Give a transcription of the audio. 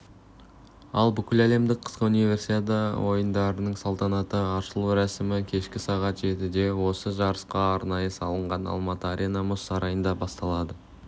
ал бүкіләлемдік қысқы универсиада ойындарының салтанатты ашылу рәсімі кешкі сағат жетіде осы жарысқа арнайы салынған алматы арена мұз сарайында басталады